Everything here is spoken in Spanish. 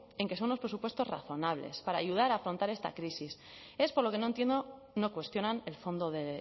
en que son unos presupuestos razonables para ayudar a afrontar esta crisis es por lo que no entiendo no cuestionan el fondo de